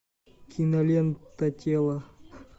кинолента тело